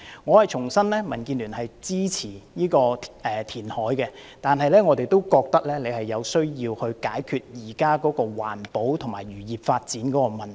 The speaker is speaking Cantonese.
我重申，民建聯支持有關的填海計劃，但是，我們也認為政府需要解決現時環保和漁業發展的問題。